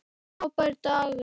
Frábær dagur.